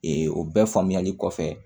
o bɛɛ faamuyali kɔfɛ